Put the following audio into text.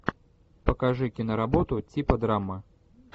покажи киноработу типа драма